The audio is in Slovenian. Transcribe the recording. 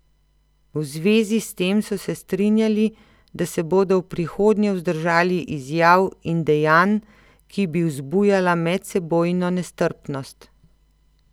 V zvezi s tem so se strinjali, da se bodo v prihodnje vzdržali izjav in dejanj, ki bi vzbujala medsebojno nestrpnost.